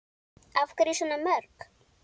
Af hverju svona mörg?